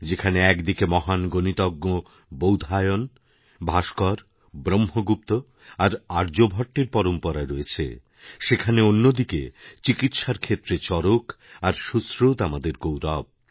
যেখানে এক দিকে মহান গণিতজ্ঞ বৌধায়ন ভাস্করব্রহ্মগুপ্ত আর আর্যভট্টের পরম্পরা রয়েছে সেখানে অন্যদিকে চিকিৎসার ক্ষেত্রে চরকআর সুশ্রুত আমাদের গৌরব